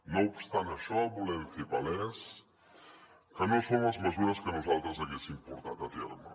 no obstant això volem fer palès que no són les mesures que nosaltres haguéssim portat a terme